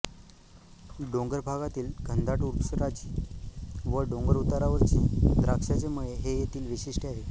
डोंगरभागातील घनदाट वृक्षराजी व डोंगरउतारावरचे द्राक्षाचे मळे हे येथील वैशिष्ट्य आहे